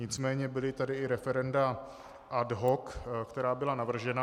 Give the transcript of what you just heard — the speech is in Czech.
Nicméně byla tady i referenda ad hoc, která byla navržena.